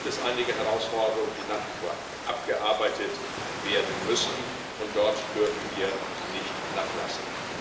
Da gibt es einige Herausforderungen, die nach wie vor abgearbeitet werden müssen, und dort dürfen wir nicht nachlassen.